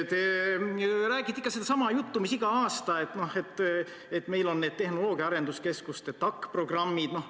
Te räägite ikka sedasama juttu mida igal aastal, et meil on need tehnoloogia arenduskeskuste TAK-programmid.